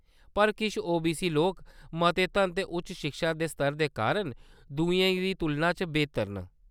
पर किश ओबीसी लोक मते धन ते उच्च शिक्षा दे स्तर दे कारण दुएं दी तुलना च बेह्तर न।